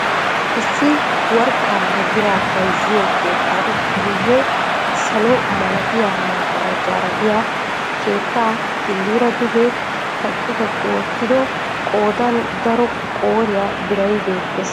Issi worqqaanne biraa bayzziyo keettaan guyee salo malattiya magarajjaara diya keetta killira duge kaqqi kaqqi wottido qoodan daro qooriya biray beettees.